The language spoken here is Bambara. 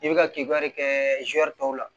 I bɛ ka kibaruya de kɛ zuwɛri tɔw la